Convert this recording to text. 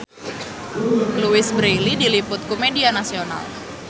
Louise Brealey diliput ku media nasional